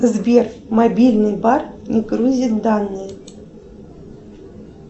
сбер мобильный бар не грузит данные